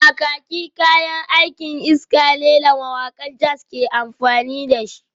Kakaki kayan aikin iska ne da mawakan jazz ke amfani da shi